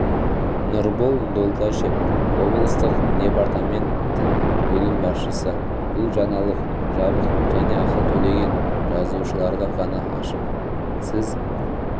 нұрбол долдашев облыстық департаменттің бөлім басшысы бұл жаңалық жабық және ақы төлеген жазылушыларға ғана ашық сіз